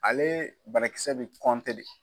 Ale barakisɛ be de.